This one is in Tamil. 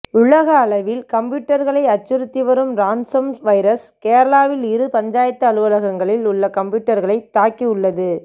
உலக அளவில் கம்யூட்டர்களை அச்சுறுத்தி வரும் ரான்சம் வைரஸ் கேரளாவில் இரு பஞ்சாயத்து அலுவலகங்களில் உள்ள கம்ப்யூட்டர்களை தாக்கி உள்ளது